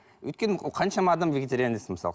өйткені ол қаншама адам вегетарианец мысалы